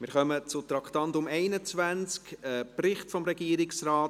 Wir kommen zum Traktandum 21, einem Bericht des Regierungsrates: